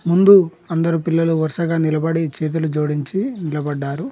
ముందు అందరు పిల్లలు వరుసగా నిలబడి చేతులు జోడించి నిలబడ్డారు.